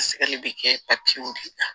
Sɛgɛn bɛ kɛ de la